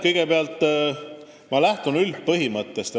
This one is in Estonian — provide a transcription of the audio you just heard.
Kõigepealt, ma lähtun üldisest põhimõttest.